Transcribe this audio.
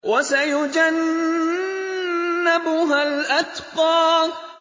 وَسَيُجَنَّبُهَا الْأَتْقَى